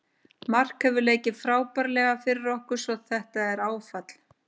Mark hefur leikið frábærlega fyrir okkur svo þetta er áfall.